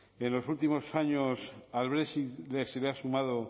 en los últimos años al brexit se le han sumado